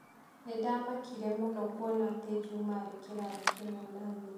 Nĩ ndaamakire mũno kuona atĩ Juma aarĩ kĩrathi kĩmwe na niĩ